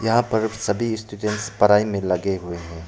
यहां पर सभी स्टूडेंट्स पराई में लगे हुए हैं।